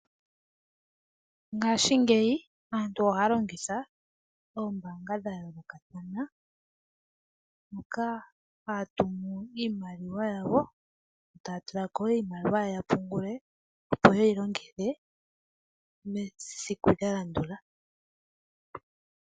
Ngaashingeyi aantu ohaya longitha oombaanga dhayoolokathana, moka haya tumu iimaliwa yawo , taya tulako iimaliwa yawo yapungule, opo yeyi longithe mesiku lyalandula .